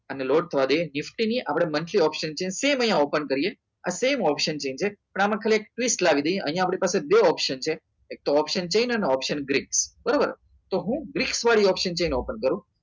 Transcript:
અને આને લોડ થવા દઈએ ગિફ્ટ ની monthly option છે સેમ અહીંયા open કરીએ આ same option છે આમાં ખાલી એકવીસ લાવી દઈએ અહીંયા આપણી પાસે બીજો option છે અહીં એક તો option ગ્રીન બરોબર તો હું ગ્રીપ્સ વાળી option જઈને open કરો